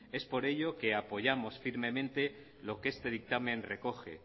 es por ello que apoyamos firmemente lo que este dictamen recoge